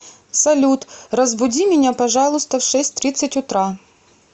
салют разбуди меня пожалуйста в шесть тридцать утра